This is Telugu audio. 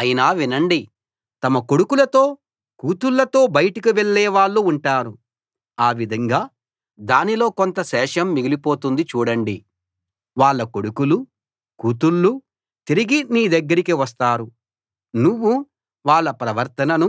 అయినా వినండి తమ కొడుకులతో కూతుళ్ళతో బయటకి వెళ్ళే వాళ్ళు ఉంటారు ఆ విధంగా దానిలో కొంత శేషం మిగిలిపోతుంది చూడండి వాళ్ళ కొడుకులూ కూతుళ్ళూ తిరిగి నీ దగ్గరికి వస్తారు నువ్వు వాళ్ళ ప్రవర్తననూ